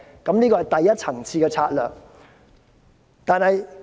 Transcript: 這是第一層次的策略。